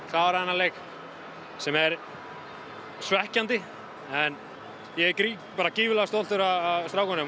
klárað þennan leik sem er svekkjandi en ég er gríðarlega stoltur af strákunum